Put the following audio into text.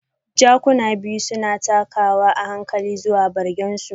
Jakuna biyu suna takawa a hankali zuwa bargin su.